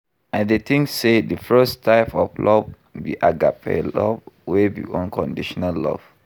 I dey think say di first type of love be Agape love wey be unconditional love.